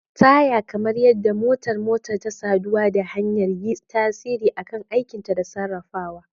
Taya, kamar yadda motar motar ta saduwa da hanya, yi tasiri a kan aikinta da sarrafawa.